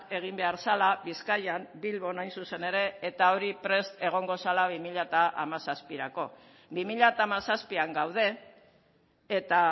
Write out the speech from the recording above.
egin behar zela bizkaian bilbon hain zuzen ere eta hori prest egongo zela bi mila hamazazpirako bi mila hamazazpian gaude eta